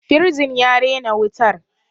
firjin ya rena wutar